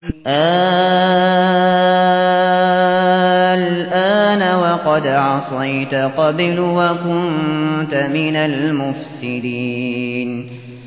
آلْآنَ وَقَدْ عَصَيْتَ قَبْلُ وَكُنتَ مِنَ الْمُفْسِدِينَ